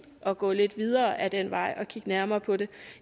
at gå lidt videre ad den vej og kigge nærmere på det